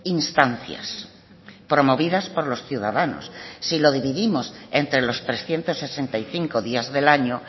instancias promovidas por los ciudadanos si lo dividimos entre los trescientos sesenta y cinco días del año